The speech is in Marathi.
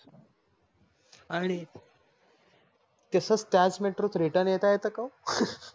आणि तसच त्याच METRO त RETURN येत येत का वो?